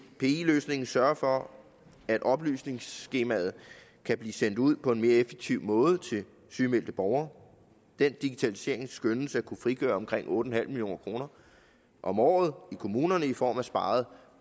løsningen sørge for at oplysningsskemaet kan blive sendt ud på en mere effektiv måde til sygemeldte borgere den digitalisering skønnes at kunne frigøre omkring otte million kroner om året i kommunerne i form af sparet